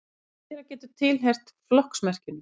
fleira getur tilheyrt flokksmerkinu